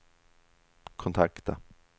kontakta